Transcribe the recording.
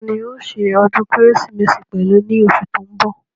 Tani òó se ọdún kérésìmesì pẹ̀lú ní osù tó ń bọ̀